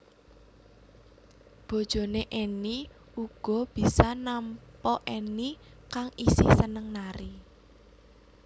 Bojoné Enny uga bisa nampa Enny kang isih seneng nari